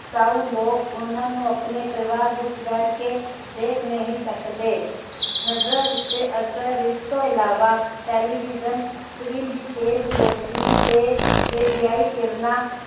ਉਹਨਾਂ ਨੂੰ ਆਪਣੇ ਪਰਿਵਾਰ ਵਿਚ ਬੈਠਕੇ ਦੇਖ ਨਹੀ ਸਕਦੇ ਨਜਰ ਉਤੇ ਅਸਰ ਇਸ ਤੋਂ ਇਲਾਵਾ television screen ਦੀ ਤੇਜ ਰੋਸ਼ਨੀ ਤੇ radio ਕਿਰਨਾਂ